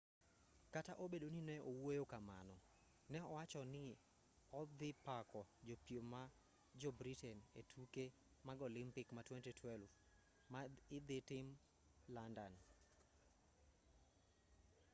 kata obedo ni neowuoyo kamano ne owachoni ni odhi pako jopiem ma jo-britain e tuke mag olimpik ma 2012 ma idhi tim london